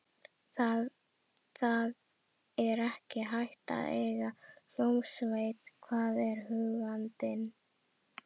Það er ekki hægt að eiga hljómsveit, sagði ég huggandi.